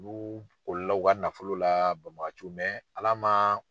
u ka nafolo la bamagaciw Ala man